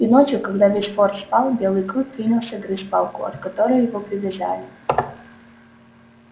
и ночью когда весь форт спал белый клык принялся грызть палку от которой его привязали